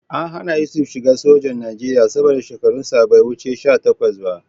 An hana Yusuf shiga sojan Najeriya saboda shekarunsa bai wuce sha takwas ba